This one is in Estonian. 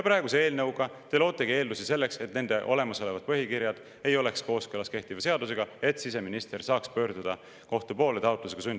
Selle eelnõuga te lootegi eeldusi, et nende olemasolevad põhikirjad ei oleks kooskõlas kehtiva seadusega ja siseminister saaks pöörduda kohtu poole sundlõpetamise taotlusega.